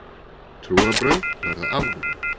Trúarbrögð verða afnumin.